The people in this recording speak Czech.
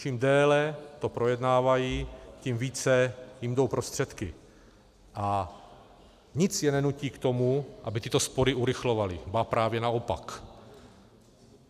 Čím déle to projednávají, tím více jim jdou prostředky a nic je nenutí k tomu, aby tyto spory urychlovali, ba právě naopak.